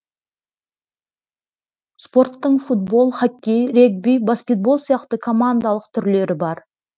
спорттың футбол хоккей регби баскетбол сияқты командалық түрлері бар